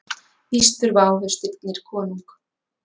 Víst þurfa ávextirnir konung.